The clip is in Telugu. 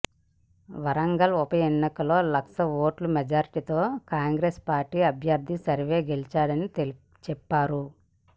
వరంగల్ ఉప ఎన్నికల్లో లక్ష ఓట్ల మెజార్టీతో కాంగ్రెస్ పార్టీ అభ్యర్థి సర్వే గెలుస్తారని చెప్పారు